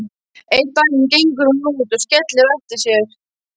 Einn daginn gengur hún út og skellir á eftir sér.